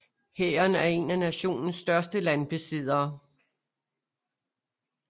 Hæren er en af nationens største landbesiddere